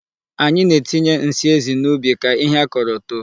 Anyị na-etinye nsị ezi n'ubi ka ihe a kọrọ too.